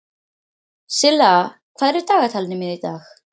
Silla, hvað er í dagatalinu mínu í dag?